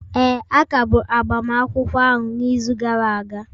Ee, a kagburu agbamakwụkwọ ahụ n'izu gara aga